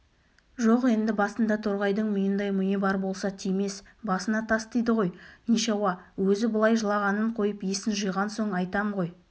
жоқ енді басында торғайдың миындай миы бар болса тимес басына тас тиді ғой нишауа өзі былай жылағанын қойып есін жиған соң айтам ғой